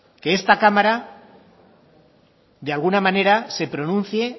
que esta cámara de alguna manera se pronuncie